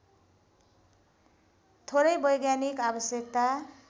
थोरै वैज्ञानिक आवश्यकता